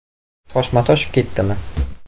Toshma toshib ketdimi?